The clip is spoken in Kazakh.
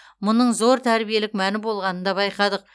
мұның зор тәрбиелік мәні болғанын да байқадық